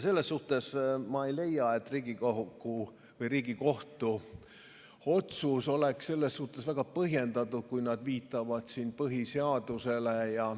Selles suhtes ma ei leia, et Riigikohtu otsus oleks väga põhjendatud, kui nad viitavad siin põhiseadusele.